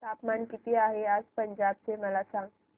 तापमान किती आहे आज पंजाब चे मला सांगा